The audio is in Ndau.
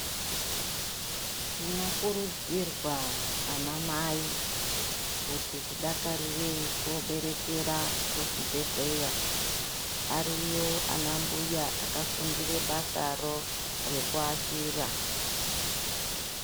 Tinokurudzirwa anamai kuti tidakarire koberekera kuzvibhedhlera. Ariyo anambuya akafundire basa ro rekuashira.